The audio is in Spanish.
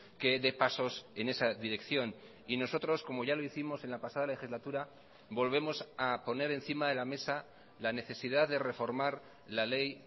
que dé pasos en esa dirección y nosotros como ya lo hicimos en la pasada legislatura volvemos a poner encima de la mesa la necesidad de reformar la ley